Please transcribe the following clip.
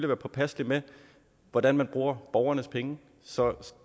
være påpasselig med hvordan man bruger borgernes penge